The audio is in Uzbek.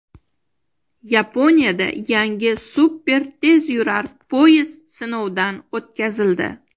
Yaponiyada yangi super tezyurar poyezd sinovdan o‘tkazildi.